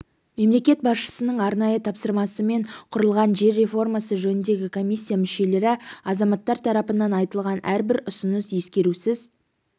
мемлекет басшысының арнайы тапсырмасымен құрылған жер реформасы жөніндегі комиссия мүшелері азаматтар тарапынан айтылған әрбір ұсыныс ескерусіз